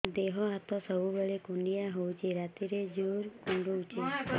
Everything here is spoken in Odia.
ଦେହ ହାତ ସବୁବେଳେ କୁଣ୍ଡିଆ ହଉଚି ରାତିରେ ଜୁର୍ କୁଣ୍ଡଉଚି